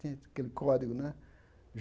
Tinha aquele código, né?